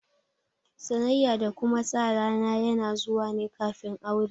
Sanayya da kuma sa rana yana zuwa ne kafin aure